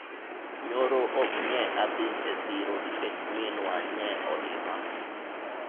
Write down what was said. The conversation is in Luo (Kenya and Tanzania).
nyoro ok nye adhi e siro nikech minwa nye olima